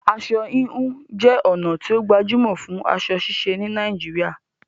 Aṣọ híhun jé ònà tí o gbajúmò fún aso ṣíse ní Naijiria